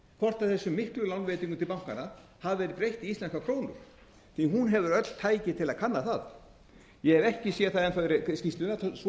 hvort þessum miklu lánveitingum til bankanna hafi verið breytt í íslenskar krónur hún hefur öll tæki til að kanna það ég hef ekki séð það enn þá í